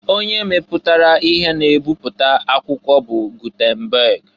Onye meputara ihe na ebipụta akwụkwọ bụ Gutenberg.